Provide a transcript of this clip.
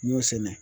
N y'o sɛnɛ